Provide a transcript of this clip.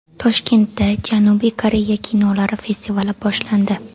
Toshkentda Janubiy Koreya kinolari festivali boshlandi.